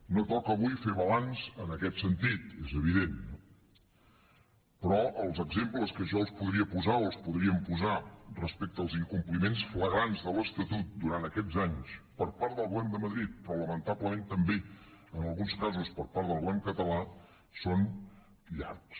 no toca avui fer balanç en aquest sentit és evident no però els exemples que jo els podria posar o els podríem posar respecte als incompliments flagrants de l’estatut durant aquests anys per part del govern de madrid però lamentablement també en alguns casos per part del govern català són llargs